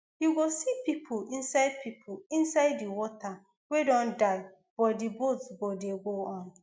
you go see pipo inside pipo inside di water wey don die but di boats go dey go on